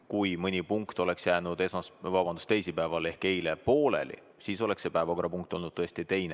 Kui mõni punkt oleks jäänud teisipäeval ehk eile pooleli, siis oleks umbusaldamine tõesti olnud teine punkt.